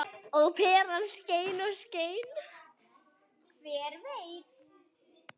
Og peran skein og skein.